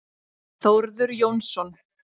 Þórður Jónsson.